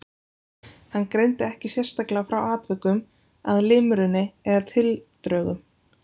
Hann greindi ekki sérstaklega frá atvikum að limrunni eða tildrögum.